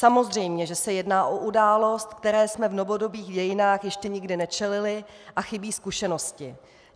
Samozřejmě že se jedná o událost, které jsme v novodobých dějinách ještě nikdy nečelili, a chybí zkušenosti.